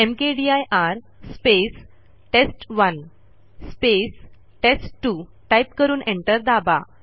mkdir space test one space test two type करून enter दाबा